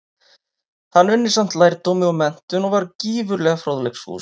Hann unni samt lærdómi og menntun, og var gífurlega fróðleiksfús.